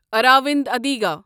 around Adiga